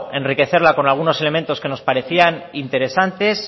enriquecer con algunos elementos que nos parecían interesantes